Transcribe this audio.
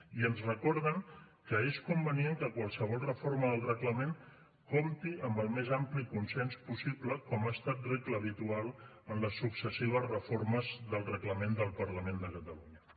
i ens recorden que és convenient que qualsevol reforma del reglament compti amb el més ampli consens possible com ha estat regla habitual en les successives reformes del reglament del parlament de catalunya